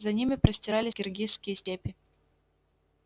за ними простирались киргизские степи